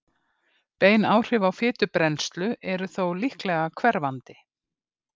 bein áhrif á fitubrennslu eru þó mjög líklega hverfandi